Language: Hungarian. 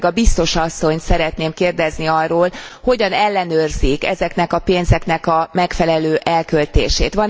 Én főleg a biztos asszonyt szeretném kérdezni arról, hogyan ellenőrzik ezeknek a pénzeknek a megfelelő elköltését.